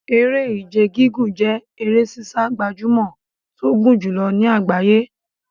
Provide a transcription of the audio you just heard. Eré Ìje gígùn jẹ́ eré sísá gbajúmọ̀ tó gùn jùlọ ní àgbáyé.